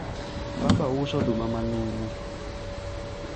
baba uso oduma manumu